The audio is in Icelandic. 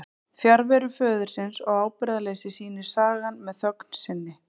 Fjarveru föðurins og ábyrgðarleysi sýnir sagan með þögn sinni.